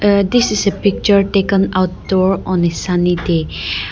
uh this is a picture taken outdoor on a sunny day.